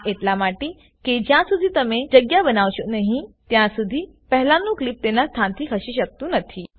આ એટલા માટે કે જ્યાં શુધી તમે જગ્યા બનાવશો નહી ત્યાં સુધીપહેલાનું ક્લીપ તેના સ્થાનથી ખસી શકતું નથી